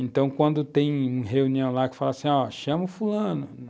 Então, quando tem reunião lá que fala assim, ó, chama o fulano.